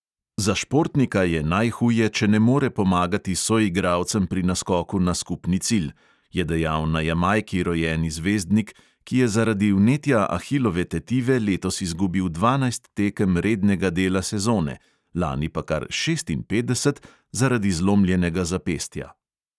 "Za športnika je najhuje, če ne more pomagati soigralcem pri naskoku na skupni cilj," je dejal na jamajki rojeni zvezdnik, ki je zaradi vnetja ahilove tetive letos izgubil dvanajst tekem rednega dela sezone, lani pa kar šestinpetdeset zaradi zlomljenega zapestja.